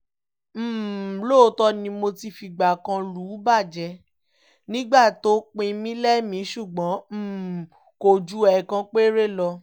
um lóòótọ́ ni mo ti fìgbà kan lù ú bàjẹ́ nígbà tó pin mí lẹ́mìí ṣùgbọ́n um kò ju ẹ̀ẹ̀kan péré lọ